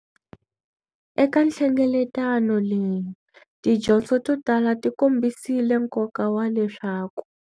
Eka nhlengeletano leyi, tidyondzo to tala tikombisile nkoka wa leswaku.